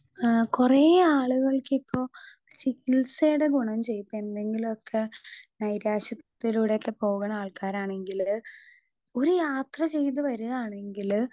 Speaker 2 ആ കൊറേ ആള്കൾക്കിപ്പൊ ചികിത്സേടെ ഗുണം ചെയ്യും ഇപ്പെന്തെങ്കിലൊക്കെ നൈരാശ്യത്തിലൂടെക്കെ പൊക്ണ ആൾക്കാരാണെങ്കില് ഒരു യാത്ര ചെയ്ത് വെരാണെങ്കില്.